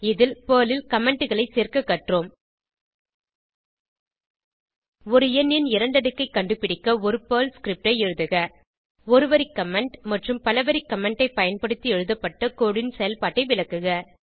இதில் பெர்ல் ல் Commentகளை சேர்க்க கற்றோம் ஒரு எண்ணின் இரண்டடுக்கை கண்டுபிடிக்க ஒரு பெர்ல் ஸ்கிரிப்ட் ஐ எழுதுக ஒரு வரி கமெண்ட் மற்றும் பல வரி கமெண்ட் ஐ பயன்படுத்தி எழுதப்பட்ட கோடு ன் செயல்பாட்டை விளக்குக